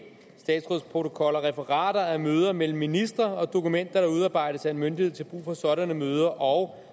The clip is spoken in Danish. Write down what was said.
statsrådsprotokoller referater af møder mellem ministre og dokumenter der udarbejdes af en myndighed til brug for sådanne møder og